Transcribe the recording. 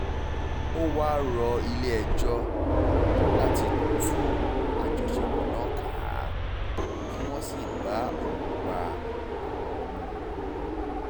ó wáá rọ ilé-ẹjọ́ láti tú àjọṣepọ̀ náà ká kí wọ́n sì bá òun gba àwọn ọmọ òun